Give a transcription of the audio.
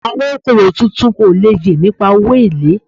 Awon oko owo tuntun o le ye nipa owo ele